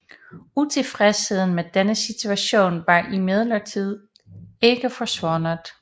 Utilfredsheden med denne situation var imidlertid ikke forsvundet